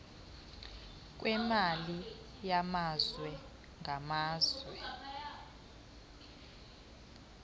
kwemali yamazwe ngamazwe